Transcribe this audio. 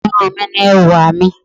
Irun mi ni ẹwà mi.